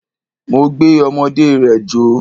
Mo gbé ọmọdé rẹ̀ jó.